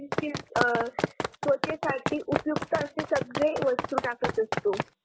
त्वचेसाठी उपयुक्त असे सगळे वस्तू टाकत असतो.